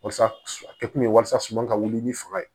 Walasa a kɛ kun ye walasa suman ka wuli ni fanga ye